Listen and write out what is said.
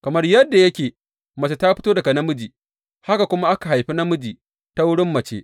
Kamar yadda mace ta fito daga namiji, haka kuma aka haifi namiji ta wurin mace.